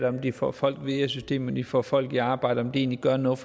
om de får folk videre i systemet om de får folk i arbejde om de egentlig gør noget